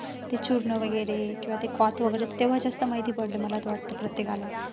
ते चूर्ण वगैरे किंवा ते वगैरे, तेव्हा जास्त माहिती पडलं मला तर वाटतंय प्रत्येकाला